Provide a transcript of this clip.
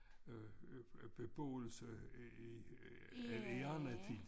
Øh beboelse i en en anden tid